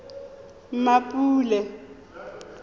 mmapule